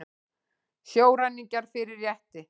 Sjóræningjar fyrir rétti